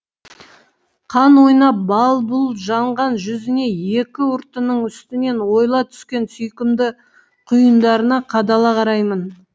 қан ойнап бал бұл жанған жүзіне екі ұртының үстінен ойыла түскен сүйкімді құйындарына қадала қараймын